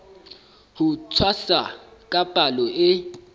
ho tshwasa ka palo e